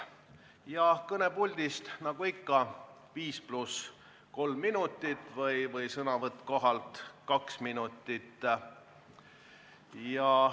Ja kõnepuldist, nagu ikka, 5 + 3 minutit või sõnavõtt kohapealt 2 minutit.